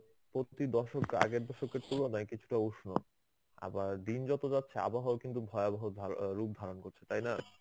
প্রতি দশক আগের দশকের তুলনায় কিছুটা উষ্ণ. আবার দিন যত যাচ্ছে আবহাওয়া কিন্তু ভয়াবহ ধা~ রূপ ধারণ করছে. তাই না.